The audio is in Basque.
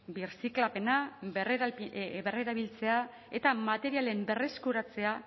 birziklapena berrerabiltzea eta materialen berreskuratzea